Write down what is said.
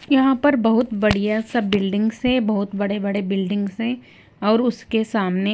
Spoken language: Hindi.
यहां पर बहोत बढ़िया सब बिल्डिंग है बहुत बड़े बड़े बिल्डिंग है और उसके सामने--